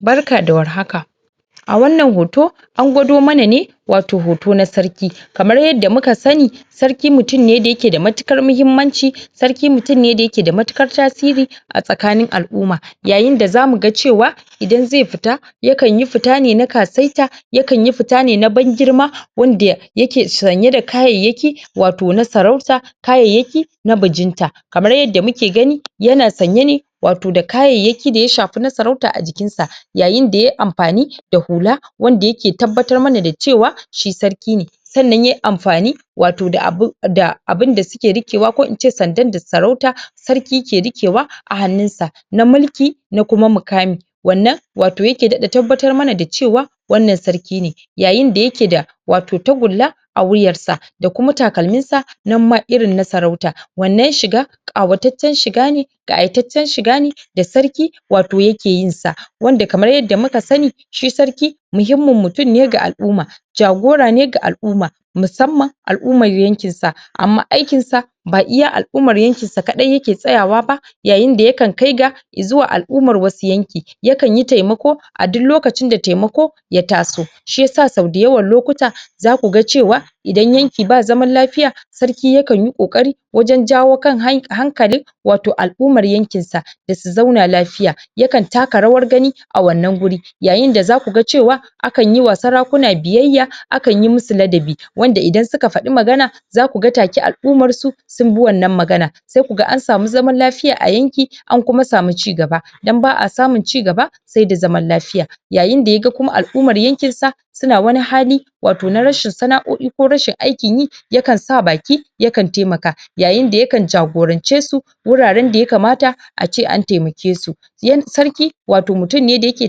Barka da war haka a wannan hoto an gwado mana ne wato hoto na sarki kamar yadda muka sani sarki mutum ne da yake da matukar muhimmanci sarki mutum ne da yake da matukar tasiri a tsakanin al'uma yayin da za mu ga cewa idan ze fita ya kan yi fita ne na kasaita ya kan yi fita ne na bangirma wanda yake sanye da kayayyaki wato na sarauta kayayyaki na bajinta kamar yadda muke gani yana sanye ne wato da kayayyaki da ya shafi na sarauta a jikinsa yayin da yayi amfani da hula wanda yake tabbatar mana da cewa shi sarki ne sannan ya yi amfani wato da abun da abin da suke riƙewa ko ince sandan da sarauta sarki ke rikewa a hannunsa na mulki na kuma mukami wannan wato yake daɗa tabbatar mana da cewa wannan sarki ne yayin da yake da wato tagulla a wuyarsa da kuma takalminsa nan ma irin na sarauta wannan shiga ƙawataccen shiga ne ƙayataccen shiga ne da sarki wato yake yin sa wanda kamar yadda muka sani shi sarki muihimmin mutum ne ga al'uma jagora ne ga al'uma musamman al'umar yankinsa amma aikinsa ba iya al'umar yankinsa kaɗai yake tsaya wa ba yayin da ya kan kai ga izuwa al'umar wasu yanki ya kan yi temako a duk lokacin da temako ya taso shi yasa sau dayawan lokuta za ku ga cewa idan yanki ba zaman lafiya sarki ya kan yi ƙoƙari wajen jawo kan hankalin wato al'umar yankinsa da su zauna lafiya ya kan taka rawar gani a wannan guri yayin da za ku ga cewa akan yi wa sarakuna biyayya akan yi musu ladabi wanda idan suka faɗi magana za ku ga take al'umarsu sun bi wannan magana se ku ga an samu zaman lafiya a yanki an kuma samu cigaba idan ba a samun cigaba se da zaman lafiya yayin da ya ga kuma al'umar yankinsa su na wani hali wato na rashin sana'o'i ko rashin aikin yi ya kan sa baki ya kan temaka yayin da ya kan jagorance su wuraren da ya kamata a ce an temake su sarki wato mutum ne da yake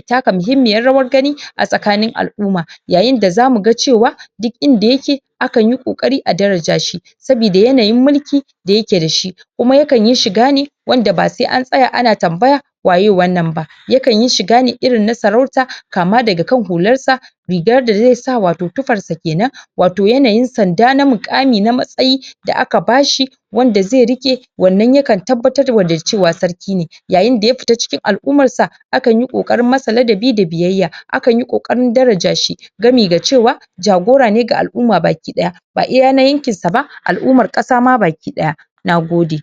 taka muhimmiyar rawar gani a tsakanin al'uma yayin da za mu ga cewa duk inda yake akan yi ƙoƙari a daraja shi saboda yanayin mulki da yake shi kuma ya kan shiga ne wanda ba se an tsaya ana tambaya waye wannan ba ya kan shiga shiga irin na sarauta kama daga kan hularsa rigar da ze sa wato tufarsa kenan wato yanayin sanda na muƙami na matsayi da aka ba shi wanda ze riƙe wannan ya kan tabbatar wa da cewa sarki ne yayin da ya fita cikin al'umarsa akan yi ƙoƙarin masa ladabi da biyayya akan yi ƙoƙarin daraja shi gami da cewa jagora ne ga aluma bakkiɗaya ba iya na yankinsa ba al'umar ƙasa ma bakiɗaya na gode